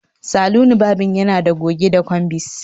Saloni varbing yana da goge da combis